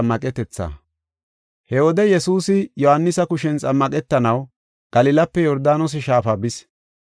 He wode Yesuusi Yohaanisa kushen xammaqetanaw Galilape Yordaanose Shaafa bis.